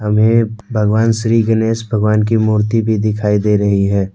भगवान श्री गणेश भगवान की मूर्ति भी दिखाई दे रही है।